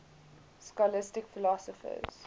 scholastic philosophers